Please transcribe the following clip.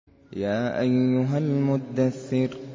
يَا أَيُّهَا الْمُدَّثِّرُ